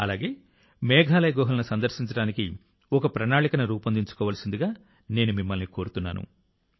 అలాగే మేఘాలయ గుహలను సందర్శించడానికి ఒక ప్రణాళికను రూపొందించుకోవలసిందిగా నేను మిమ్మల్ని కోరుతున్నాను